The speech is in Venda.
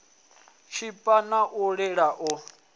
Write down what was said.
tshipa na u lila u